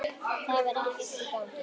Það var ekkert í gangi.